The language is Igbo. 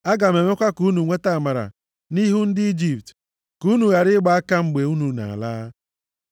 “Aga m emekwa ka unu nweta amara nʼihu ndị Ijipt, ka unu ghara ịgba aka mgbe unu na-ala.